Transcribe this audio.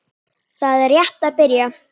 Þetta er rétt að byrja.